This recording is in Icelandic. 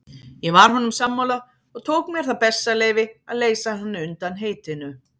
Ég var honum sammála og tók mér það bessaleyfi að leysa hann undan heitinu.